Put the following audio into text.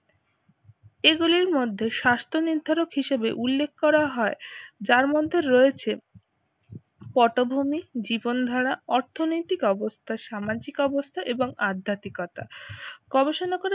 এগুলির মধ্যে স্বাস্থ্য নির্ধারক হিসেবে উল্লেখ করা হয় যার মধ্যে রয়েছে পটভূমি, জীবনধারা অর্থনৈতিক অবস্থা, সামাজিক অবস্থা এবং আধ্যাত্মিকতা। গবেষণা করে